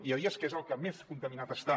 hi ha dies que és el que més contaminat està